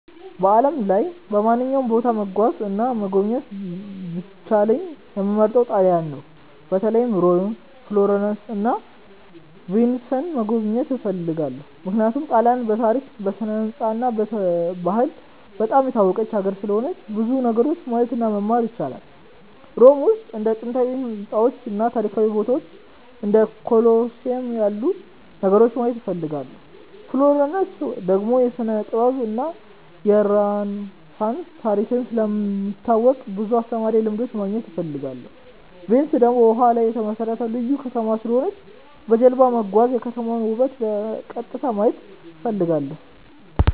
በዓለም ላይ በማንኛውም ቦታ መጓዝ እና መጎብኘት ቢቻለኝ የምመርጠው ጣሊያንን ነው። በተለይ ሮም፣ ፍሎረንስ እና ቪንስን መጎብኘት እፈልጋለሁ። ምክንያቱም ጣሊያንን በታሪክ፣ በስነ-ሕንፃ እና በባህል በጣም የታወቀች ሀገር ስለሆነች ብዙ ነገሮችን ማየት እና መማር ይቻላል። ሮም ውስጥ እንደ ጥንታዊ ሕንፃዎች እና ታሪካዊ ቦታዎች እንደ ኮሎሲየም ያሉ ነገሮችን ማየት እፈልጋለሁ። ፍሎረንስ ደግሞ የስነ-ጥበብ እና የሬነሳንስ ታሪክ ስለሚታወቅ ብዙ አስተማሪ ልምዶች ማግኘት እፈልጋለሁ። ቪንስ ደግሞ በውሃ ላይ የተመሠረተ ልዩ ከተማ ስለሆነች በጀልባ መጓዝ እና የከተማዋን ውበት በቀጥታ ማየት እፈልጋለሁ።